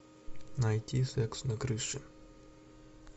найти секс на крыше